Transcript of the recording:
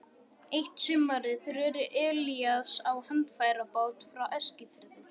Eitt sumarið reri Elías á handfærabát frá Eskifirði.